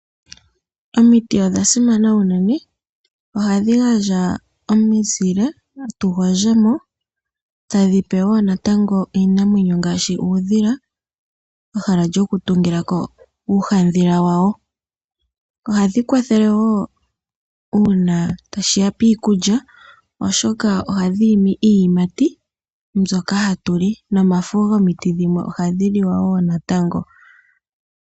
Omiti odha simana unene. Ohadhi gandja omizile tugondje mo, tadhi pe wo natango iinamwenyo ngaashi uudhila ehala lyokutungilako uuhandhila wawo. Ohadhi kwathele wo uuna tashi ya piikulya , oshoka ohadhi imi iiyimati mbyoka hatuli. Omafo gomiti dhimwe ohadhi liwa wo natango.